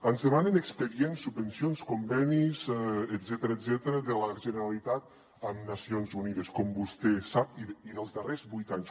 ens demanen expedients subvencions convenis etcètera de la generalitat amb nacions unides i dels darrers vuit anys